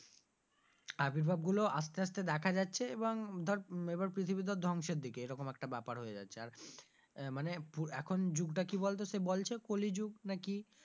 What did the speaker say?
আভিভাব গুলো আস্তে আস্তে দেখা যাচ্ছে এবং ধর এবার পৃথিবী ধর ধ্বংসের দিকে এরকম একটা ব্যাপার হয়ে যাচ্ছে আর আহ মানে এখন যুগটা কি বলতো সে বলছে কলি যুগ না কি,